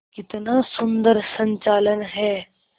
कितना सुंदर संचालन है